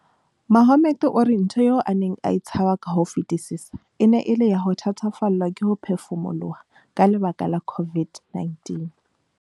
Mohammed o re ntho eo a neng a e tshaba ka ho fetisisa e ne e le ya ho thatafallwa ke ho phefumoloha ka lebaka la COVID-19.